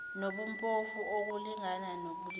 nobuphofu ukulingana ngobulili